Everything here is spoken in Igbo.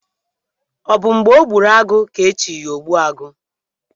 Ọ bụ mgbe ọ gburu agụ ka e chi ya ogbu agụ?